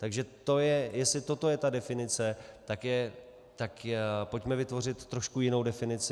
Takže jestli toto je ta definice, tak pojďme vytvořit trošku jinou definici.